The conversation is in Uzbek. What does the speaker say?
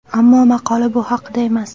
Ammo maqola bu haqida emas.